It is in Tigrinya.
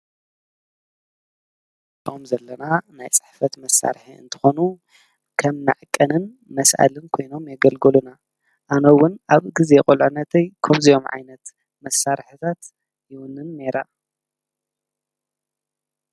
እዞም እንሪኦም ዘለና ናይ ፅሕፈት መሳርሒ እንትኮኑ ከም መዐቀንን መስአልን ኮይኖም የገልግሉና፡፡ ኣነ እውን ኣብ ግዜ ቁልዕነተይ ከምዚኦም ዓይነት መሳርሕታት ይውንን ነይረ፡፡